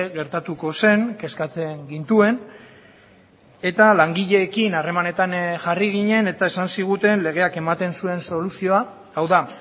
gertatuko zen kezkatzen gintuen eta langileekin harremanetan jarri ginen eta esan ziguten legeak ematen zuen soluzioa hau da